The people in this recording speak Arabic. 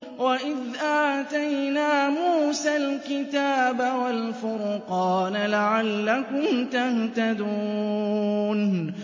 وَإِذْ آتَيْنَا مُوسَى الْكِتَابَ وَالْفُرْقَانَ لَعَلَّكُمْ تَهْتَدُونَ